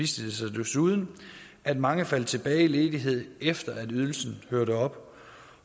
sig desuden at mange faldt tilbage i ledighed efter at ydelsen hørte op